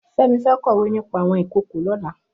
Femi fẹ̀ kọwé nipà awọn ikookó lọ̀lá